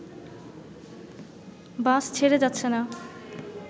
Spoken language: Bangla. বাস ছেড়ে যাচ্ছে না